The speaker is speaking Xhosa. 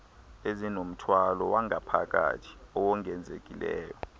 ezinomthwalo wangaphakathi owongezekileyo